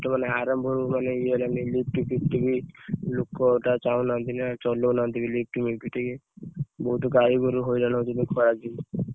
ମାନେ ଆରମ୍ଭ ହେଇ ଗଲାଣି lift ଫିଟ ବି ଲୋକ ଅଧା ଚାହୁଁ ନାହାନ୍ତି ନା ଚଲଉନାହାନ୍ତି ବି lift ଫିଟ ଟିକେ ବହୁତ ଗାଈ ଗୋରୁ ହଇରାଣ ହଉଛନ୍ତି ଖରା ଦିନେ।